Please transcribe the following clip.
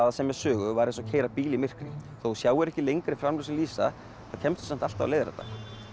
að semja sögu væri eins og að keyra bíl í myrkri þó þú sjáir ekki lengra en framljósin vísa þá kemstu samt alltaf á leiðarenda